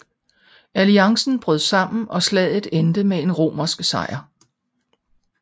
Alliancen brød sammen og slaget endte med en romersk sejr